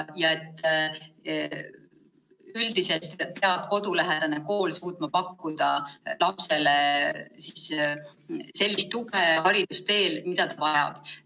Üldiselt peab kodulähedane kool suutma pakkuda lapsele haridusteel sellist tuge, nagu ta vajab.